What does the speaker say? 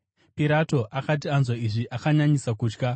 Pirato akati anzwa izvi akanyanyisa kutya,